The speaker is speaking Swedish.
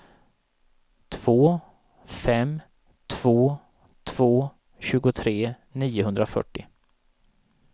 två fem två två tjugotre niohundrafyrtio